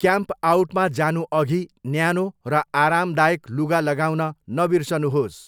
क्याम्पआउटमा जानुअघि, न्यानो र आरामदायक लुगा लगाउन नबिर्सनुहोस्।